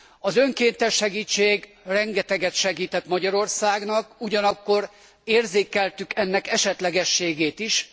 Az önkéntes segítség rengeteget segített Magyarországnak, ugyanakkor érzékeltük ennek esetlegességét is.